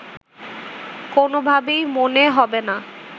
কোনোভাবেই মনে হবে না